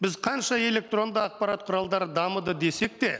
біз қанша электронды ақпарат құралдары дамыды десек те